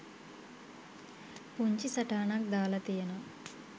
පුංචි සටහනක් දාලා තියෙනවා